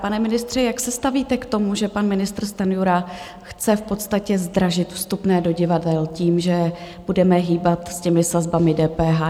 Pane ministře, jak se stavíte k tomu, že pan ministr Stanjura chce v podstatě zdražit vstupné do divadel tím, že budeme hýbat s těmi sazbami DPH?